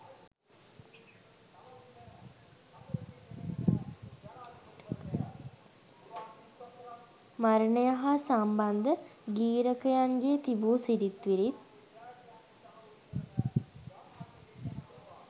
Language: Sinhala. මරණය හා සම්බන්ධ ගී්‍රකයන්ගේ තිබූ සිරිත් විරිත්